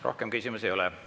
Rohkem küsimusi ei ole.